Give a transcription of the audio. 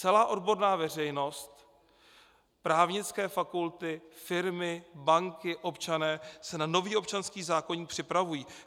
Celá odborná veřejnost, právnické fakulty, firmy, banky, občané se na nový občanský zákoník připravují.